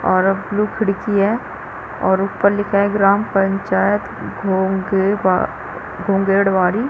और अब ब्लू खिड़की है और ऊपर लिखा है ग्राम पंचायत घों गे बा घोँघेड़बाड़ी--